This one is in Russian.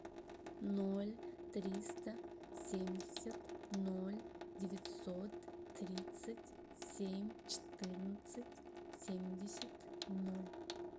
ноль триста семьдесят ноль девятьсот тридцать семь четырнадцать семьдесят ноль